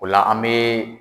Ola la an bɛ.